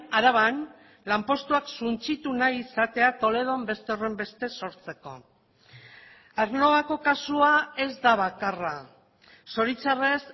araban lanpostuak suntsitu nahi izatea toledon beste horrenbeste sortzeko aernnovako kasua ez da bakarra zoritzarrez